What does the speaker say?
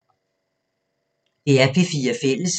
DR P4 Fælles